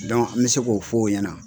an bɛ se k'o f'o ɲɛna.